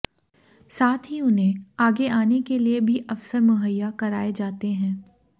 साथ ही उन्हें आगे आने के लिए भी अवसर मुहैया कराए जाते हैं